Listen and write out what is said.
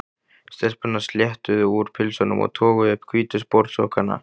Stelpurnar sléttuðu úr pilsunum og toguðu upp hvítu sportsokkana.